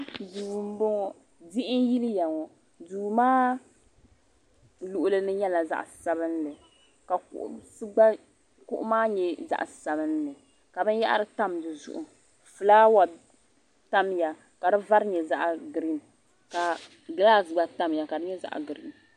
duu n bɔŋɔ diɣi n yiliya ŋɔ duu maa luɣuli ni nyɛla zaɣ sabinli ka kuɣu maa nyɛ zaɣ sabinli ka binyahari tam dizuɣu fulaawa tamya ka di vari nyɛ zaɣ giriin ka gilaas gba tamya ka di nyɛ zaɣ giriin